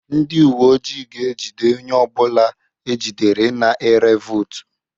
Ndị uwe ojii ga-ejide onye ọ bụla ejidere na-ere vootu